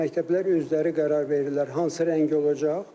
Məktəblər özləri qərar verirlər hansı rəng olacaq.